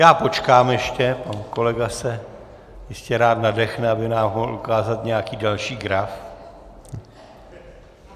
Já počkám ještě, pan kolega se ještě rád nadechne, aby nám mohl ukázat nějaký další graf.